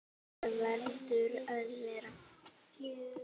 Það verður að vera.